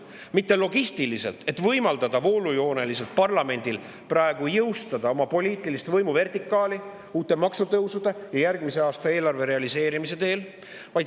Mitte logistilisel, et võimaldada voolujooneliselt parlamendil praegu jõustada oma poliitilist võimuvertikaali uute maksutõusude ja järgmise aasta eelarve realiseerimisel.